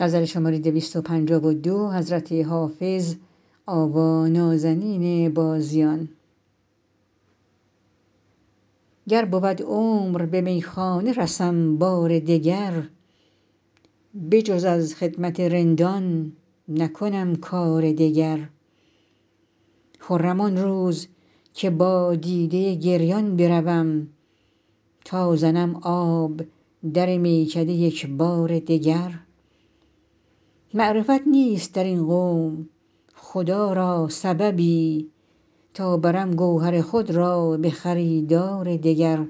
گر بود عمر به میخانه رسم بار دگر بجز از خدمت رندان نکنم کار دگر خرم آن روز که با دیده گریان بروم تا زنم آب در میکده یک بار دگر معرفت نیست در این قوم خدا را سببی تا برم گوهر خود را به خریدار دگر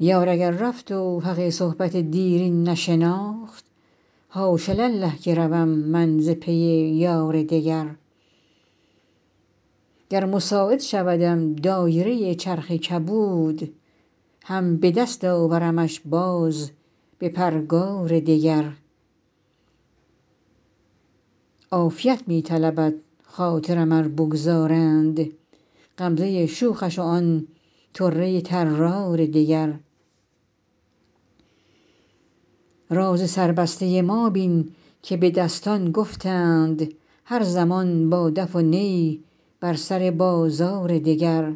یار اگر رفت و حق صحبت دیرین نشناخت حاش لله که روم من ز پی یار دگر گر مساعد شودم دایره چرخ کبود هم به دست آورمش باز به پرگار دگر عافیت می طلبد خاطرم ار بگذارند غمزه شوخش و آن طره طرار دگر راز سربسته ما بین که به دستان گفتند هر زمان با دف و نی بر سر بازار دگر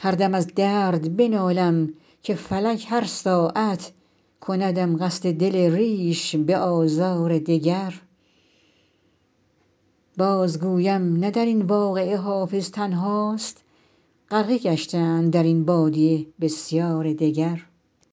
هر دم از درد بنالم که فلک هر ساعت کندم قصد دل ریش به آزار دگر بازگویم نه در این واقعه حافظ تنهاست غرقه گشتند در این بادیه بسیار دگر